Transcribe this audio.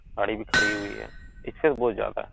गाड़ी भी खड़ी हुई है इससे वो ज्यादा --